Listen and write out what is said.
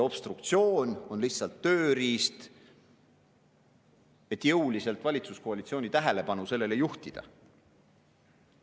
Obstruktsioon on lihtsalt tööriist, et valitsuskoalitsiooni tähelepanu jõuliselt sellele juhtida.